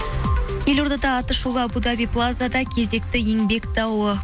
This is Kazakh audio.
елордада аты шулы абу даби плазада кезекті еңбек дауы